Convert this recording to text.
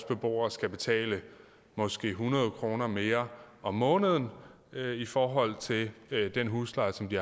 beboere skal betale måske hundrede kroner mere om måneden i forhold til den husleje som de